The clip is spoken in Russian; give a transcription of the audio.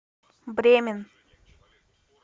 бремен